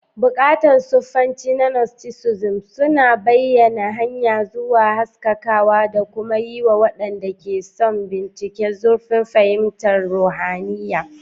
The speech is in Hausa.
Buƙatun sufanci na Gnosticism suna bayyana hanya zuwa haskakawa da kuma yiwa waɗanda ke son bincika zurfin fahimtar ruhaniya.